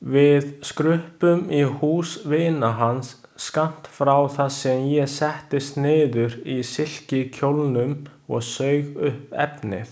Við skruppum í hús vina hans skammt frá þar sem ég settist niður í silkikjólnum og saug upp efnið.